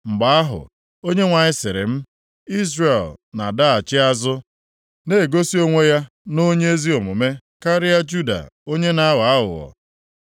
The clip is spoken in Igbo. Mgbe ahụ, Onyenwe anyị sịrị m, “Izrel na-adaghachi azụ na-egosi onwe ya nʼonye ezi omume karịa Juda onye na-aghọ aghụghọ.